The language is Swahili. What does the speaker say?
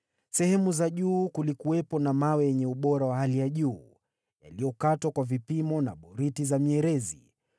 Sehemu za juu kulikuwepo na mawe yenye ubora wa hali ya juu, yaliyokatwa kwa vipimo na boriti za mierezi.